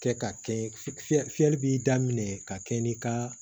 Kɛ ka kɛ fi fiyɛ fiyɛli bɛ daminɛ ka kɛ n'i ka